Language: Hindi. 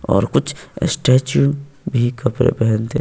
और कुछ स्टैचू भी कपड़े पहनते--